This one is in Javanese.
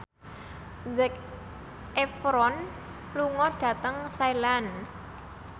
Zac Efron lunga dhateng Thailand